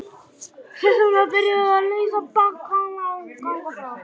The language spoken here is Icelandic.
Systurnar byrjuðu að leysa baggana og ganga frá.